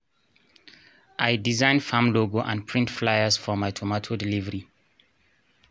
i design farm logo and print flyers for my tomato delivery